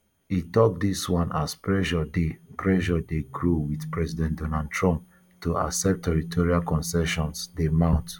e tok dis one as pressure dey pressure dey grow wit president donald trump to accept territorial concessions dey mount